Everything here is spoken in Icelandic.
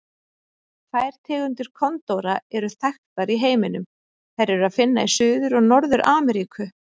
Tvær tegundir kondóra eru þekktar í heiminum, þær er að finna í Suður- og Norður-Ameríku.